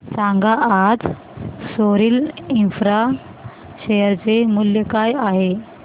सांगा आज Sorril Infra share चे मूल्य काय आहे